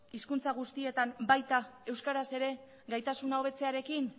hizkuntza guztietan baita euskaraz ere gaitasuna hobetzearekin